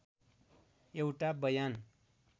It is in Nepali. एउटा बयान